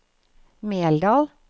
Meldal